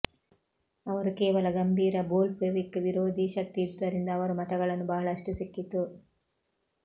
ಅವರು ಕೇವಲ ಗಂಭೀರ ಬೋಲ್ಷೆವಿಕ್ ವಿರೋಧೀ ಶಕ್ತಿ ಇದ್ದುದರಿಂದ ಅವರು ಮತಗಳನ್ನು ಬಹಳಷ್ಟು ಸಿಕ್ಕಿತು